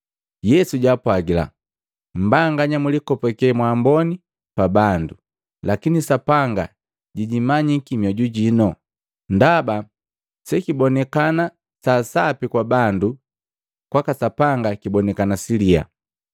Yesu jaapwagila, “Mmbanganya mulikopake mwaamboni pa bandu, lakini Sapanga jijimanyiki mioju jino. Ndaba sekibonekana sa sapi kwa bandu, kwaka Sapanga kibonikana siliyaa.